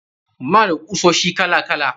Muna da kusoshi kala kala.